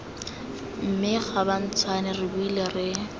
mme gabatshwane re boile re